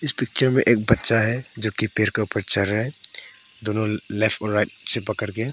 इस पिक्चर में एक बच्चा है जोकि पेड़ के ऊपर चढ़ रहा है दोनों लेफ्ट और राइट से पकड़ के।